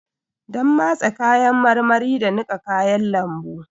Donn matse kayan marmari da niƙa kayan lambu.